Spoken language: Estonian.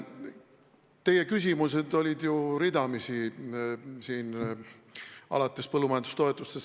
Teie küsimused olid siin ju ridamisi, alates põllumajandustoetustest.